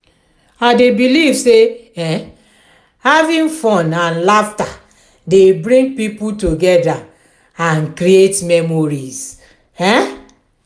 i dey believe say um having fun and laughter dey bring people together and create memories. um